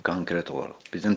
Konkret olaraq.